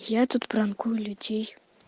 я тут пранкую людей